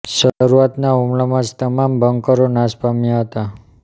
શરૂઆતના હુમલામાં જ તમામ બંકરો નાશ પામ્યા હતાં